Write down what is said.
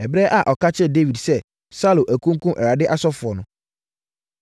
Ɛberɛ a ɔka kyerɛɛ Dawid sɛ Saulo akunkum Awurade asɔfoɔ no,